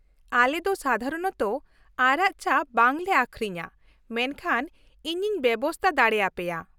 ᱟᱞᱮ ᱫᱚ ᱥᱟᱫᱷᱟᱨᱚᱱᱚᱛᱚ ᱟᱨᱟᱜ ᱪᱟ ᱵᱟᱝ ᱞᱮ ᱟᱹᱠᱷᱨᱤᱧᱟ, ᱢᱮᱱᱠᱷᱟᱱ ᱤᱧᱤᱧ ᱵᱮᱵᱚᱥᱛᱟ ᱫᱟᱲᱮ ᱟᱯᱮᱭᱟ ᱾